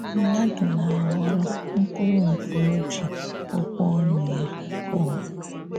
Mmadụ̀ na-aghọrọ̀ mkpụrụ nke o ji okwù ọnụ ya kụọ.